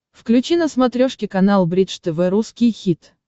включи на смотрешке канал бридж тв русский хит